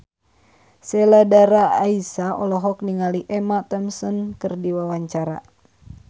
Sheila Dara Aisha olohok ningali Emma Thompson keur diwawancara